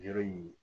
Yɔrɔ in